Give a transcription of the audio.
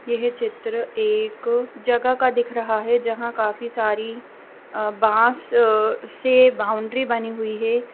यह चित्र एक जगह का दिख रहा है जहाँ काफी सारी अ बांस से बाउंड्री बनी हुई है।